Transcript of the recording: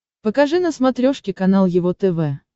покажи на смотрешке канал его тв